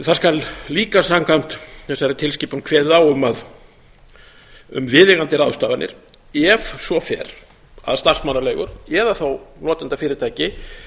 það skal líka samkvæmt þessari tilskipun kveðið á um viðeigandi ráðstafanir ef svo fer að starfsmannaleigur eða notendafyrirtæki